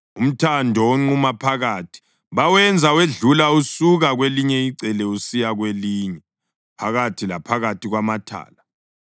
Umthando onquma phakathi bawenza wedlula usuka kwelinye icele usiya kwelinye phakathi laphakathi kwamathala.